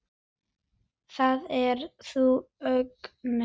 Það er þá Agnes!